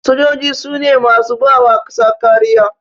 Sojoji sune masu bawa ƙasa kariya